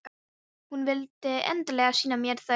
Hún vildi endilega sýna mér þau.